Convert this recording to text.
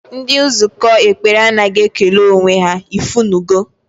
Ndị nzukọ ekpere anaghị ekele onwe ha, ifunugo